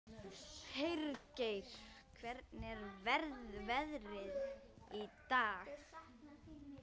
Hergeir, hvernig er veðrið í dag?